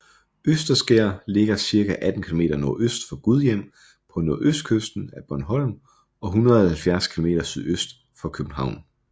Østerskær ligger cirka 18 km nordøst for Gudhjem på nordøstkysten af Bornholm og 170 km sydøst for København